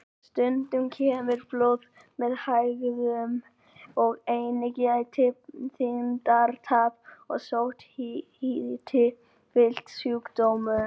Stundum kemur blóð með hægðum og einnig geta þyngdartap og sótthiti fylgt sjúkdómnum.